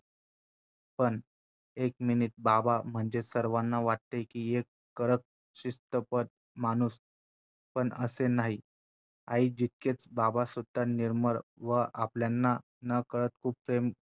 पण एक minute बाबा म्हणजे सर्वांना वाटते कि एक कडक, शिस्तबद्ध माणूस पण असे नाही, आई जितकेच बाबासुद्धा निर्मळ व आपल्यांना नकळत खूप प्रेम